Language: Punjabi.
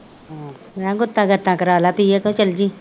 ਮੈ ਕਹਿਆ ਗੁੱਤਾ ਗੱਤਾ ਕਰਾਲਾ ਧੀਏ ਤੂੰ ਚਲ ਜੀ।